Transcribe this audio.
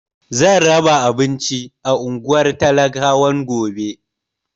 Zan raba abinci a unguwar talakawan gobe.